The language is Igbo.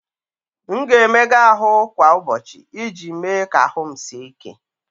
M ga-emega ahụ kwa ụbọchị iji mee ka ahụ m sie ike.